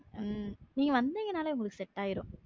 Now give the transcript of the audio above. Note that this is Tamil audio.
அஹ் நீங்க வந்தீங்கன்னாலே உங்களுக்கு செட்ஆயிரும்